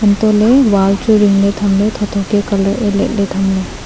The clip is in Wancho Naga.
hantoh ley wall ring ley tham ley tho tho ke colour e liat ley tham ley.